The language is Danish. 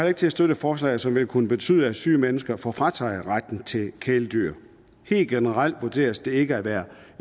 ikke til at støtte forslaget som vil kunne betyde at syge mennesker får frataget retten til et kæledyr helt generelt vurderes det ikke at være